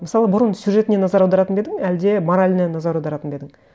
мысалы бұрын сюжетіне назар аударатын ба едін әлде мораліне назар аударатын ба едін